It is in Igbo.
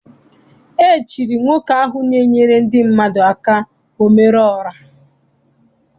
E chiri nwoke ahụ na-enyere ndị mmadụ aka omere ora.